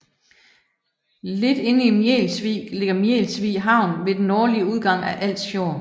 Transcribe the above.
Lidt inde i Mjels Vig ligger Mjels Vig Havn ved den nordlige udgang af Als Fjord